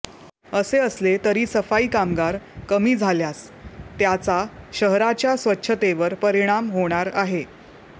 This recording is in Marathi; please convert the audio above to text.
असे असले तरी सफाई कामगार कमी झाल्यास त्याचा शहराच्या स्वच्छतेवर परिणाम होणार आहे